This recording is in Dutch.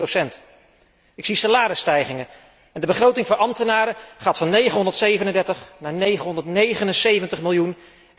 3,6. Ik zie salarisstijgingen en de begroting voor ambtenaren gaat van 937 naar 979 miljoen.